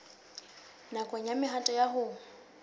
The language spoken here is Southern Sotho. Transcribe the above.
nakong ya mehato ya ho